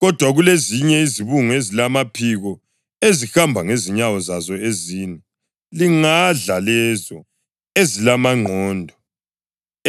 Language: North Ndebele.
Kodwa kulezinye izibungu ezilamaphiko, ezihamba ngezinyawo zazo ezine, lingadla lezo ezilamangqondo,